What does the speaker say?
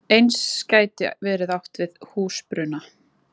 Eins gæti verið átt við húsbruna.